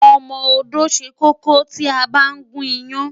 Ọmọ-odó ṣẹ kókó tí a bá ń gún iyán.